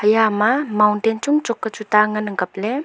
iyama mountain chong chok ka chu tah ngan ang kapley.